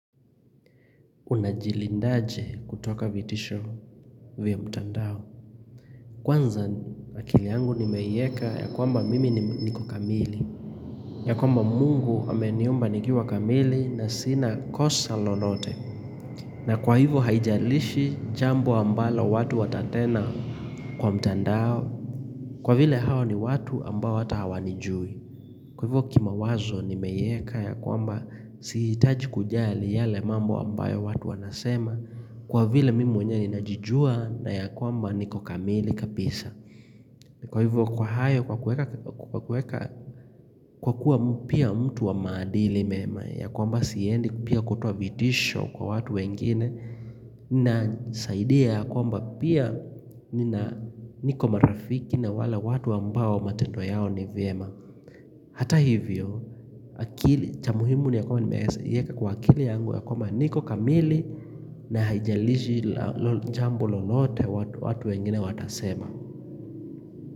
Una jilindaje kutoka vitisho vya mtandao Kwanza akili yangu nimeiweka ya kwamba mimi niko kamili ya kwamba mungu ameniumba nikiwa kamili na sina kosa lolote na kwa hivo haijalishi jambo ambalo watu watanena kwa mtandao Kwa vile hao ni watu ambao hata hawanijui Kwa hivo kimawazo nimeieka ya kwamba sihitaji kujali yale mambo ambayo watu wanasema Kwa vile mimi mwenye ninajijua na ya kwamba niko kamili kabisa Kwa hivyo kwa hayo kwa kuweka kwa kuwa pia mtu wa maadili mema ya kwamba siendi pia kutoa vitisho kwa watu wengine na saida ya kwamba pia niko marafiki na wale watu ambao matendo yao ni vyema Hata hivyo, akili cha muhimu ni ya kwamba nimeeza ieka kwa akili yangu ya kwamba niko kamili na haijalishi jambo lolote watu wengine watasema.